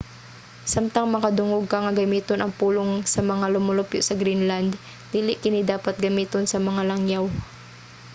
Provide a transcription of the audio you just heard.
samtang makadungog ka nga gamiton ang pulong sa mga lumulupyo sa greenland dili kini dapat gamiton sa mga langyaw